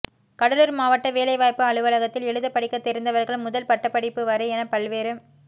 கடலுார் மாவட்ட வேலை வாய்ப்பு அலுவலகத்தில் எழுத படிக்க தெரிந்தவர்கள் முதல் பட்டப்படிப்பு வரை என பல்வேறு